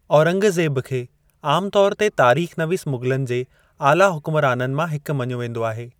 औरंगज़ेब खे आमु तौर ते तारीख़ नवीस मुग़लनि जे आला हुकुमराननि मां हिकु मञो वेंदो आहे।